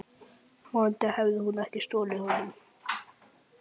Vonandi hafði hún ekki stolið honum.